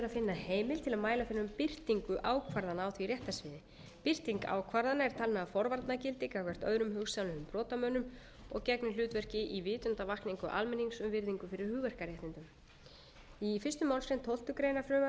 mæla fyrir um birtingu ákvarðana á því réttarsviði birting ákvarðana er talin hafa forvarna gildi gagnvart öðrum hugsanlegum brotamönnum og gegnir hlutverki í vitundarvakningu almennings um virðingu fyrir hugverkaréttindum í fyrstu málsgrein tólftu greinar frumvarpsins er lagt til að sú takmörkun